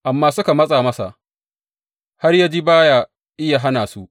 Amma suka matsa masa har ya ji ba ya iya hana su.